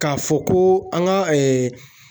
K'a fɔ ko an ka